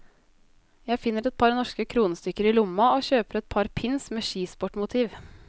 Jeg finner et par norske kronestykker i lomma og kjøper et par pins med skisportmotiv.